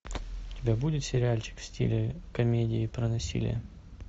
у тебя будет сериальчик в стиле комедии про насилие